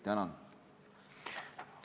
Tänan!